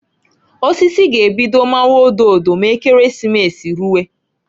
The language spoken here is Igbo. Osisi g'ebido mawa ododo m'Ekeresimesi ruwe.